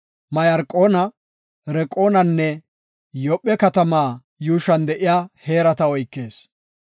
Mayarqoona, Raqoonanne Yoophe katama yuushuwan de7iya heerata oykees.